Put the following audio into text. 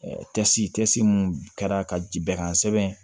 mun kɛra ka ji bɛran kosɛbɛ